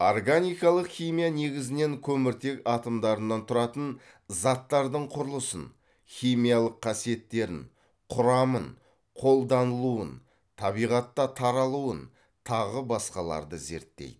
органикалық химия негізінен көміртек атомдарынан тұратын заттардың құрылысын химиялық қасиеттерін құрамын қолданылуын табиғатта таралуын тағы басқаларды зерттейді